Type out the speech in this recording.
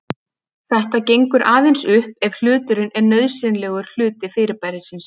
Þetta gengur aðeins upp ef hluturinn er nauðsynlegur hluti fyrirbærisins.